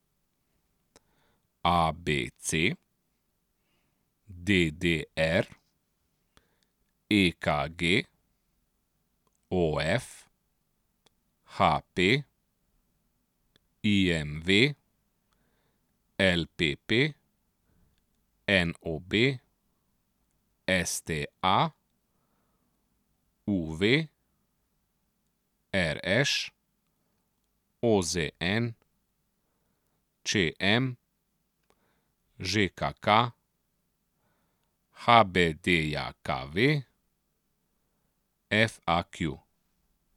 A B C; D D R; E K G; O F; H P; I M V; L P P; N O B; S T A; U V; R Š; O Z N; Č M; Ž K K; H B D J K V; F A Q.